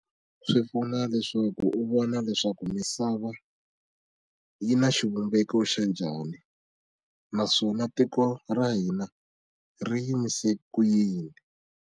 Swi pfuna leswaku u vona leswaku misava yi na xivumbeko xa njhani naswona tiko ra hina ri yimise ku yini.